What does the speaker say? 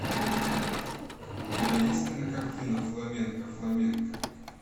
у тебя есть кинокартина фламенко фламенко